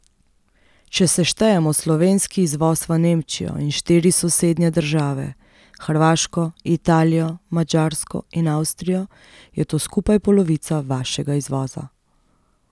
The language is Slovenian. Če seštejemo slovenski izvoz v Nemčijo in štiri sosednje države, Hrvaško, Italijo, Madžarsko in Avstrijo, je to skupaj polovica vašega izvoza.